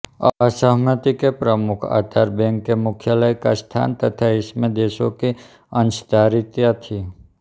असहमति के प्रमुख आधार बैंक के मुख्यालय का स्थान तथा इसमें देशों की अंशधारिता थी